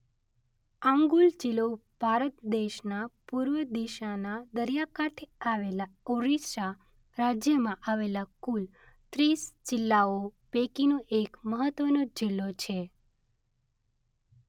આંગુલ જિલ્લો ભારત દેશના પૂર્વ દિશાના દરિયાકાંઠે આવેલા ઓરિસ્સા રાજ્યમાં આવેલા કુલ ત્રીસ જિલ્લાઓ પૈકીનો એક મહત્વનો જિલ્લો છે.